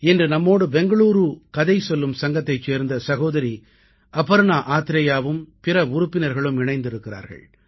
இன்று நம்மோடு பெங்களூரு கதை சொல்லும் சங்கத்தைச் சேர்ந்த சகோதரி அபர்ணா ஆத்ரேயாவும் பிற உறுப்பினர்களும் இணைந்திருக்கிறார்கள்